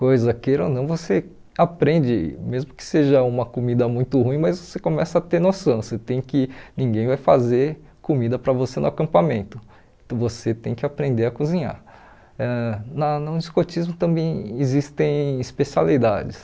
coisa queira ou não você aprende mesmo que seja uma comida muito ruim mas você começa a ter noção você tem que ninguém vai fazer comida para você no acampamento você tem que aprender a cozinhar ãh na no escotismo também existem especialidades